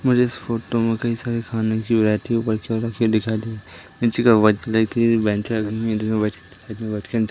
मुझे इस फोटो में कई सारे खाने की वैरायटी ऊपर की ओर रखी हुई दिखाई दे रही नीचे का वाइट कलर की ।